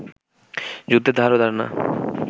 যুদ্ধের ধারও ধার না